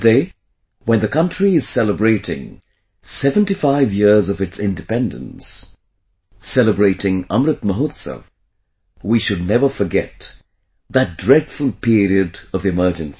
Today, when the country is celebrating 75 years of its independence, celebrating Amrit Mahotsav, we should never forget that dreadful period of emergency